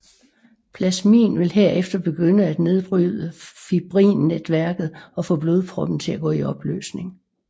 Plasmin vil herefter begynde at nedbryde fibrinnetværket og få blodproppen til at gå i opløsning